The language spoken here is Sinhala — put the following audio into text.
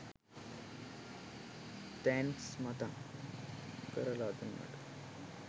තැන්ක්ස් මතක් කරලා දුන්නට